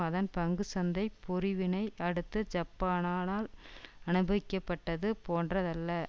அதன் பங்கு சந்தை பொறிவினை அடுத்து ஜப்பானானால் அனுபவிக்கப்பட்டது போன்றதல்ல